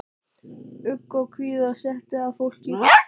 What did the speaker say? Ugg og kvíða setti að fólki.